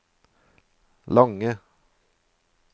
lange